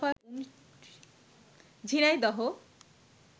Jhenaidah